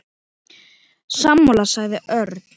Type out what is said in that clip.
Sammála sagði Örn.